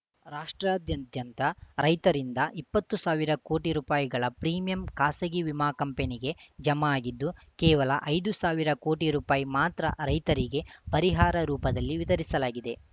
ರಾಷ್ಟ್ರಾದ್ಯದ್ಯಂತ ರೈತರಿಂದ ಇಪ್ಪತ್ತು ಸಾವಿರ ಕೋಟಿ ರುಪಾಯಿಗಳ ಪ್ರೀಮಿಯಂ ಖಾಸಗಿ ವಿಮಾ ಕಂಪನಿಗೆ ಜಮಾ ಆಗಿದ್ದು ಕೇವಲ ಐದು ಸಾವಿರ ಕೋಟಿ ರುಪಾಯಿ ಮಾತ್ರ ರೈತರಿಗೆ ಪರಿಹಾರ ರೂಪದಲ್ಲಿ ವಿತರಿಸಲಾಗಿದೆ